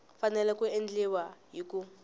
fanele ku endliwa hi ku